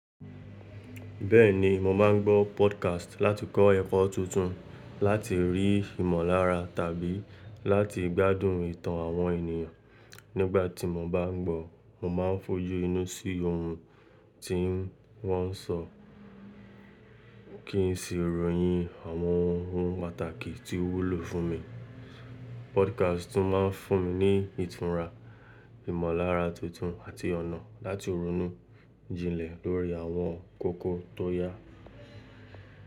Bẹ́ẹ̀ni, mo máà ń gbọ́ podcast láti kọ́ ẹ̀kọ́ tuntun, láti rí ìmọ̀lára tàbí láti gbádùn ìtàn àwọn ènìyàn. Nígbà tí mo bá ń gbọ́, mo máa ń fojú inú sí ohun tí wọ́n ń sọ kí n si ròyìn àwọn ohun pàtàkì tí ó wúlò fún mi. Podcast tún máa ń fún mi ní ìtura, ìmọ̀lára tuntun àti ọ̀nà láti ronú jinlẹ̀ lórí àwọn kókó tó yá.